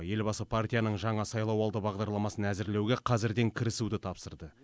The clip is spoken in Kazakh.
елбасы партияның жаңа сайлауалды бағдарламасын әзірлеуге қазірден кірісуді тапсырды